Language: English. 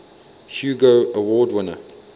hugo award winner